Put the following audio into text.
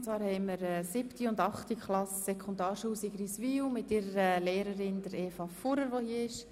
Es handelt sich um die 7. und 8. Klasse der Sekundarschule Sigriswil mit ihrer Lehrerin Eva Fuhrer.